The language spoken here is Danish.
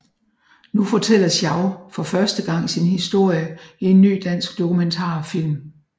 Nu fortæller Schau for første gang sin historie i en ny dansk dokumentarfilm